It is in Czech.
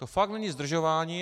To fakt není zdržování.